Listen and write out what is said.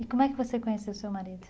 E como é que você conheceu o seu marido?